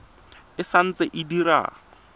e sa ntse e dira